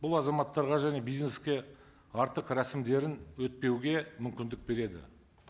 бұл азаматтарға және бизнеске артық рәсімдерін өтпеуге мүмкіндік береді